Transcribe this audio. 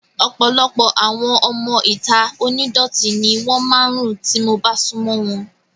Ọ̀pọ̀lọpọ̀ àwọn ọmọ ìta onídọ̀tí ni wọ́n máa ń rùn tí mo bá sún mọ́ wọn